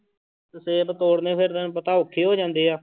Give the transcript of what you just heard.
ਸੇਬ ਤੋੜਨੇ ਫਿਰ ਤੈਨੂੰ ਪਤਾ ਔਖੇ ਹੋ ਜਾਂਦੇ ਆ।